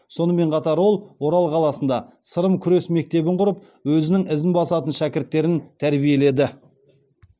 сонымен қатар ол орал қаласында сырым күрес мектебін құрып өзінің ізін басатын шәкірттерін тәрбиеледі